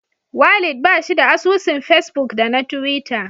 Walid bashi da asusun fesbuk da na tiwita.